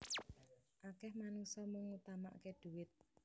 Akeh manungsa mung ngutamakke dhuwit